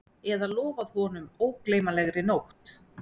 Eða lofað honum ógleymanlegri nótt